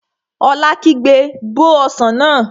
Ola kígbe, Bó ọsàn náà!